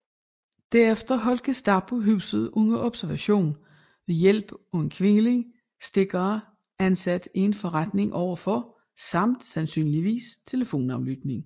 Derefter holdt Gestapo huset under observation ved hjælp af en kvindelig stikker ansat i en forretning overfor samt sandsynligvis telefonaflytning